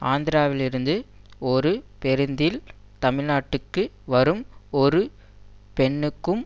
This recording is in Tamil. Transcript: ஆந்திராவிலிருந்து ஒரு பேருந்தில் தமிழ்நாட்டுக்கு வரும் ஒரு பெண்ணுக்கும்